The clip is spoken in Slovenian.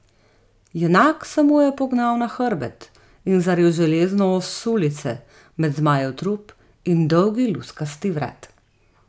Junak se mu je pognal na hrbet in zaril železno ost sulice med zmajev trup in dolgi luskasti vrat.